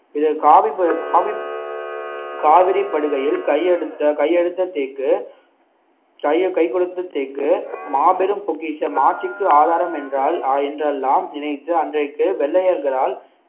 இதில் காவிரிப்படுகையில் கையெடுத்த கையெடுத்த தேக்கு கை கொடுத்து தேக்கு மாபெரும் பொக்கிஷம் ஆட்சிக்கு ஆதாரம் என்றால் ஆஹ் என்றெல்லாம் நினைத்து அன்றைக்கு வெள்ளையர்களால்